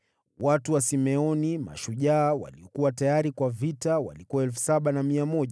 Watu wa Simeoni, mashujaa waliokuwa tayari kwa vita walikuwa 7,100.